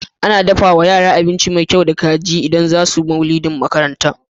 Ana dafawa yara abinci me kyau da kaji idan zasu maulidin makaranta